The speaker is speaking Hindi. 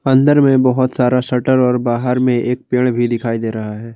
अंदर में बहोत सारा शटर और बाहर में एक पेड़ भी दिखाई दे रहा है।